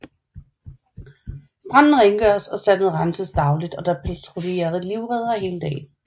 Stranden rengøres og sandet renses dagligt og der patruljerer livreddere hele dagen